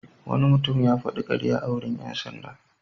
Wani mutum ya faɗi ƙarya a wurin ƴan sanda.